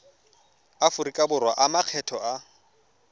aforika borwa a makgetho a